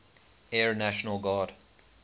air national guard